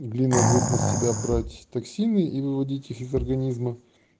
и глина будет на себя брать токсины и выводит их из организма